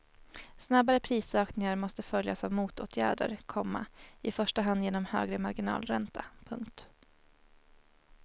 Snabbare prisökningar måste följas av motåtgärder, komma i första hand genom högre marginalränta. punkt